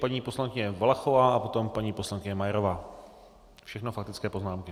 Paní poslankyně Valachová a potom paní poslankyně Majerová, všechno faktické poznámky.